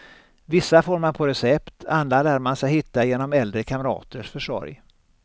Vissa får man på recept, andra lär man sig hitta genom äldre kamraters försorg.